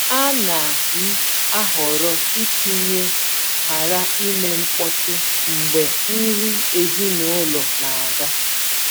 A na m ahọrọ itinye “ghara ime mkpọtụ” mgbe nri ezinụlọ na-aga.